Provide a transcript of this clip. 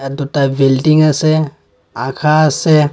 দুটা বিল্ডিং আছে আখা আছে।